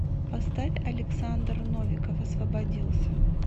поставь александр новиков освободился